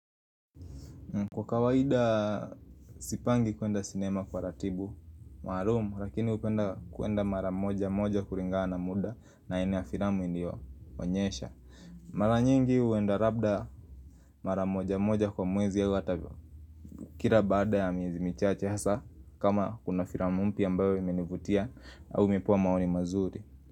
Kwa kawaida sipangi kuenda sinema kwa ratiba maalum, lakini hupenda kuenda mara moja moja kulingana na muda na aina ya filamu iliyo onyesha Mara nyingi huenda labda mara moja moja kwa mwezi au hata kila baada ya miezi michache hasa kama kuna filamu mpya ambayo imenivutia au ipo maoni mazuri.